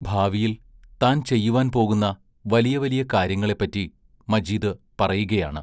ഭാവിയിൽ താൻ ചെയ്യുവാൻ പോകുന്ന വലിയ വലിയ കാര്യങ്ങളെപ്പറ്റി മജീദ് പറയുകയാണ്.